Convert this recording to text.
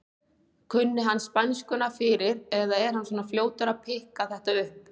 Kunni hann spænskuna fyrir eða er hann svona fljótur að pikka þetta upp?